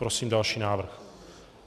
Prosím další návrh.